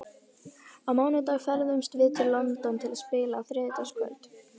Á mánudag ferðumst við til London til að spila á þriðjudagskvöld.